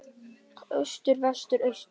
Austur Vestur Austur